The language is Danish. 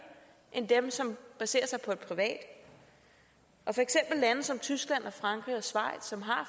end dem som baserer sig på et privat lande som tyskland frankrig og schweiz som har